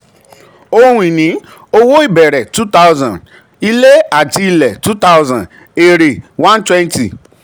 ohun ìní: um owó ìbẹ̀rẹ̀ um two thousand; ilẹ̀ àti um ilé two thousand; èrè two thousand one twenty.